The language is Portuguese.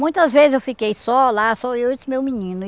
Muitas vezes eu fiquei só lá, só eu e o meu menino.